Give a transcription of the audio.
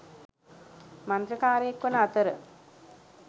මන්ත්‍රකාරයෙක් වන අතර